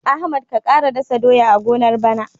Ahmad ka ƙara dasa doya a gonar bana.